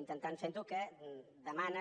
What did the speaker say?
intentant ferho que demanen